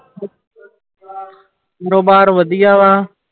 ਕਾਰੋਬਾਰ ਵਧੀਆ ਵਾ।